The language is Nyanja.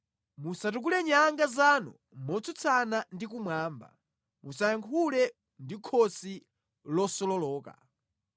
Musatukule nyanga zanu motsutsana ndi kumwamba; musayankhule ndi khosi losololoka.’ ”